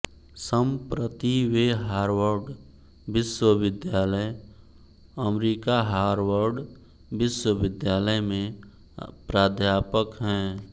संप्रति वे हार्वड विश्वविद्यालय अमरीकाहार्वड विश्वविद्यालय में प्राध्यापक हैं